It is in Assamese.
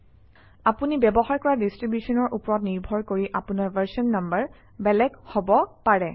আপুনি ব্যৱহাৰ কৰা ডিষ্ট্ৰিবিউশ্যনৰ ওপৰত নিৰ্ভৰ কৰি আপোনৰ ভাৰচন নাম্বাৰ বেলেগ হব পাৰে